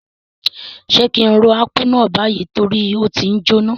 Sé ki n ro Akpu náà bayi torí o ti njoná?